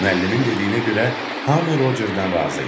Müəllimin dediyinə görə hamı Rocerdən razı idi.